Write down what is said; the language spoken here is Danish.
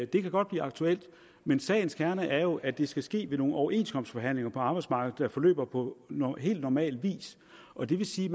det kan godt blive aktuelt men sagens kerne er jo at det skal ske gennem overenskomstforhandlinger på arbejdsmarkedet der forløber på helt normal vis og det vil sige